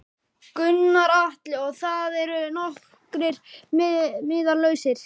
Gunnar Atli: Og það eru nokkrir miðar lausir?